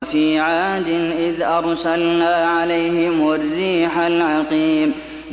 وَفِي عَادٍ إِذْ أَرْسَلْنَا عَلَيْهِمُ الرِّيحَ الْعَقِيمَ